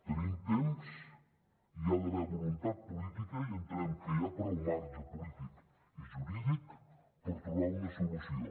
tenim temps i hi ha d’haver voluntat política i entenem que hi ha prou marge polític i jurídic per trobar una solució